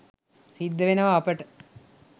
සිද්ධවෙනවා අපට.